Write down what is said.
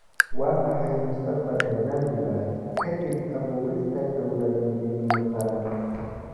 Waa maxay mustaqbalka Zanzibar ka dib abuurista dawlad midnimo qaran?